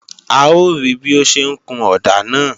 A ó rí bí ó ń ṣe ń kun ọ̀dà náà